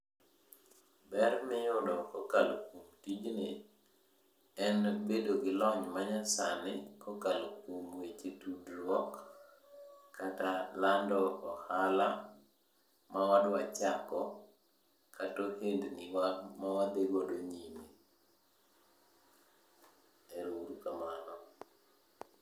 Ber miyudo kokalo kuom tijni, en bedo gi lony manyasani kokalo kuom weche tudruok kata lando ohala mwadwa chako kata ohendniwa mawadhigodo nyime. Eru uru kamano.